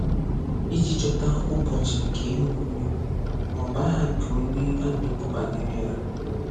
Ị́jị chọta ụ̀gbọ̀chị̀ nke ihe omume ma ọ bụ aha nke onye a na-ekwu banyere ya.